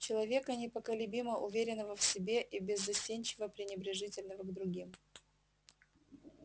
человека неколебимо уверенного в себе и беззастенчиво пренебрежительного к другим